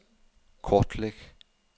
kortlæg